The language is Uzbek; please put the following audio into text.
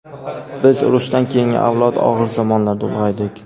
Biz urushdan keyingi avlod og‘ir zamonlarda ulg‘aydik.